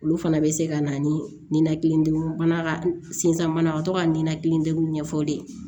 Olu fana bɛ se ka na ni ninakilidew ye mana ka sinzan bana ka to ka ninakili degun ɲɛfɔ de